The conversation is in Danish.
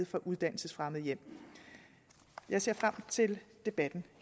fra uddannelsesfremmede hjem jeg ser frem til debatten